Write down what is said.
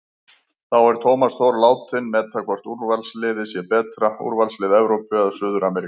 Þá er Tómas Þór látinn meta hvort úrvalsliðið sé betra, úrvalslið Evrópu eða Suður-Ameríku?